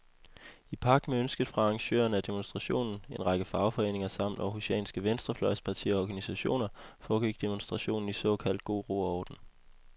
I pagt med ønsket fra arrangørerne af demonstrationen, en række fagforeninger samt århusianske venstrefløjspartier og organisationer, foregik demonstrationen i såkaldt god ro og orden.